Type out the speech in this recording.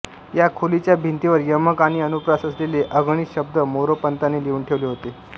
या खोलीच्या भिंतींवर यमक आणि अनुप्रास असलेले अगणित शब्द मोरोपंतांनी लिहून ठेवले होते